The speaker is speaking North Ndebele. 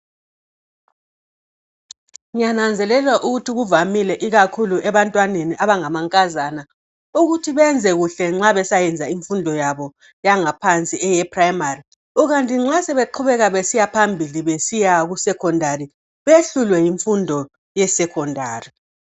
ngiyananzelela ukuthi kuvamile ikakhulu ebantwaneni abangamankazana ukuthi benze kahle emfundweni zabo zangaphansi eprimary ikanti ke nxasebe qhubekela phambili behlulwe yimfundo yesecondary.